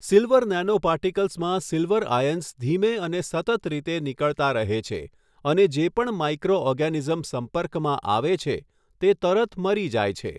Silver નેનોપાર્ટિકલ્સમાં silver ions ધીમે અને સતત રીતે નીકળતા રહે છે અને જે પણ માઈક્રો ઓર્ગેનિઝમ સંપર્કમાં આવે છે, તે તરત મરી જાય છે.